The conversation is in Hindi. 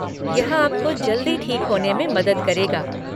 यह आपको जल्दी ठीक होने में मदद करेगा।